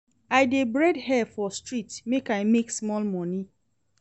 I dey braid hair for street make I make small moni.